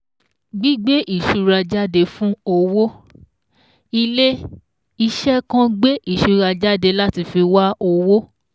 GBÍGBÉ ÌṢURA JÁDE FÚN OWÓ Ilé-iṣẹ̀ kan gbé ìṣura jáde láti fi wa owó